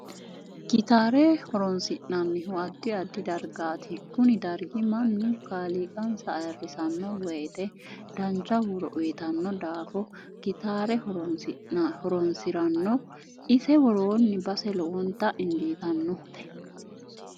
Kitaare horoonisinanihu addi aiddi dargaati kuni dargi mannu kaaliqansa ayiirisanno woyiite dancha huuro uyiitanno daafo gitaare horoonsiranno ise worooni base lowonta injiitanote